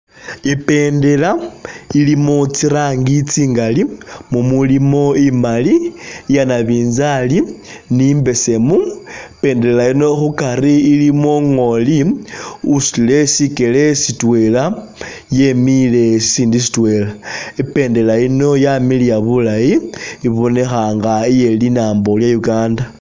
Ibendela ilimo tsirangi tsingali mumulimo imali, iya nabinzali ni mbesemu, ibendela yino khukari ilimo ngoli usutile sikele sitwela yemile sisindi sitwela, Ibendela yino yamiliya bulayi ibonekha nga iye linambo lye Uganda